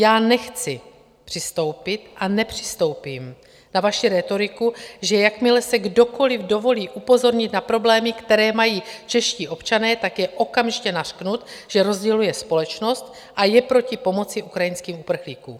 Já nechci přistoupit a nepřistoupím na vaši rétoriku, že jakmile si kdokoliv dovolí upozornit na problémy, které mají čeští občané, tak je okamžitě nařknut, že rozděluje společnost a je proti pomoci ukrajinským uprchlíkům.